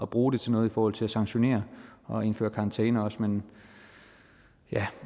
bruge det til noget i forhold til at sanktionere og indføre karantæne også men